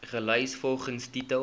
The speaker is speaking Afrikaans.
gelys volgens titel